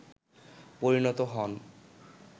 পরিণত হন